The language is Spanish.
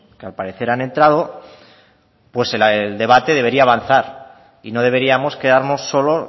que al parecer han entrado pues el debate debería avanzar y no deberíamos quedarnos solo